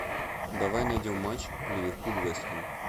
давай найдем матч ливерпуль вест хэм